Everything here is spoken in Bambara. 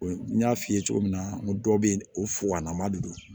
N y'a f'i ye cogo min na n ko dɔw bɛ yen o de don